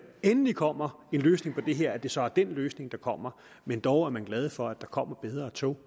endelig kommer en løsning på det her at det så er dén løsning der kommer men dog er man glad for at der kommer bedre tog